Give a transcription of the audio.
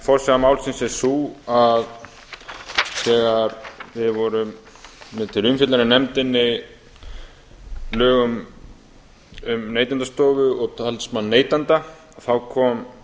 forsaga málsins er sú að þegar við vorum með til umfjöllunar í nefndinni lög um neytendastofu og talsmann neytenda kom